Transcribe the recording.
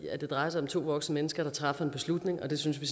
det drejer sig om to voksne mennesker der træffer en beslutning og den synes vi